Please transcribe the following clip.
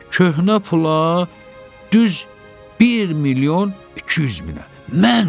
Köhnə pula düz 1 milyon 200 minə, mən ölüm?